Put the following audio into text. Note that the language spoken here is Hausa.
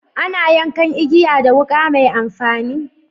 Ana yankan igiya da wuka mai amfani.